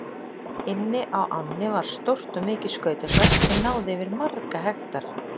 Inni á ánni var stórt og mikið skautasvell sem náði yfir marga hektara.